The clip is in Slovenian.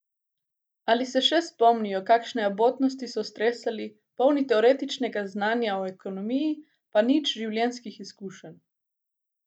Ali se še spomnijo, kakšne abotnosti so stresali, polni teoretičnega znanja o ekonomiji, pa nič življenjskih izkušenj?